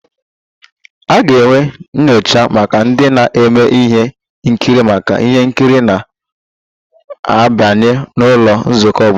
A ga-enwe nyocha maka ndị na-eme ihe nkiri maka ihe nkiri na-abịanụ n'ụlọ nzukọ obodo